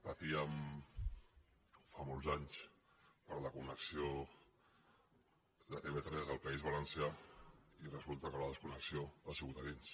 patíem fa molts anys per la connexió de tv3 al país valencià i resulta que la desconnexió ha sigut a dins